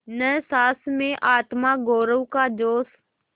न सास में आत्मगौरव का जोश